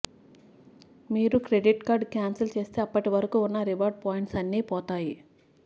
మీరు credit card cancel చేస్తే అప్పటివరకు ఉన్న రివార్డ్ పాయింట్స్ అన్నీ పోతాయి